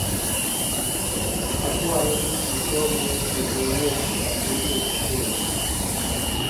akwayo in isom weche mowuok sani e messenger